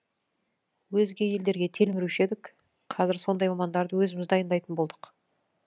өзге елдерге телміруші едік қазір сондай мамандарды өзіміз дайындайтын болдық